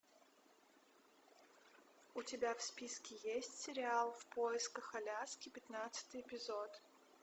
у тебя в списке есть сериал в поисках аляски пятнадцатый эпизод